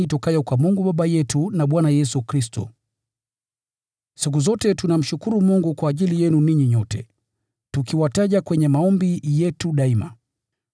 Siku zote tunamshukuru Mungu kwa ajili yenu ninyi nyote, tukiwataja kwenye maombi yetu daima.